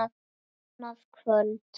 Annað kvöld!